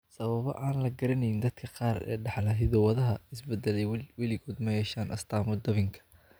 Sababo aan la garanayn, dadka qaar ee dhaxla hiddo-wadaha is-beddelay weligood ma yeeshaan astaamo dabinka.